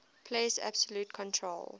places absolute control